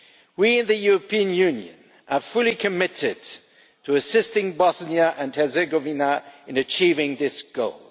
We in the European Union are fully committed to assisting Bosnia and Herzegovina in achieving this goal.